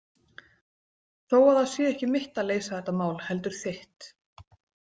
Þó að það sé ekki mitt að leysa þetta mál heldur þitt.